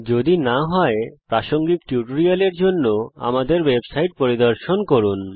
যদি না হয় প্রাসঙ্গিক টিউটোরিয়ালের জন্য আমাদের ওয়েবসাইট httpspoken tutorialorg পরিদর্শন করুন